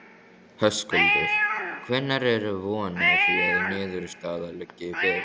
Höskuldur: Hvenær er von á því að niðurstaða liggi fyrir?